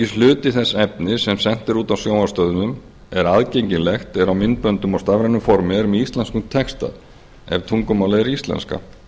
einungis hluti þess efnis sem sent er út á sjónvarpsstöðvum eða aðgengilegt er á myndböndum og stafrænu formi er með íslenskum texta ef tungumálið er íslenska